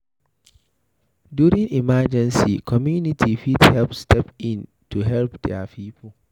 During emergency, community fit step in to help their pipo